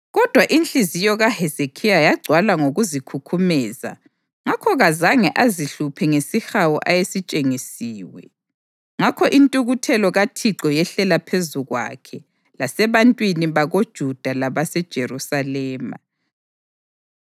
Kodwa inhliziyo kaHezekhiya yagcwala ngokuzikhukhumeza ngakho kazange azihluphe ngesihawu ayesitshengisiwe; ngakho intukuthelo kaThixo yehlela phezu kwakhe lasebantwini bakoJuda labaseJerusalema.